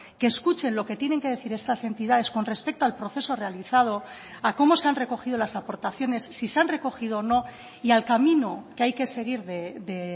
que escuchen lo que tienen que decir estas entidades con respecto al proceso realizado a cómo se han recogido las aportaciones si se han recogido o no y al camino que hay que seguir de